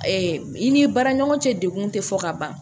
i ni baara ɲɔgɔn cɛ dekun tɛ fɔ ka ban